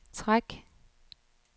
træk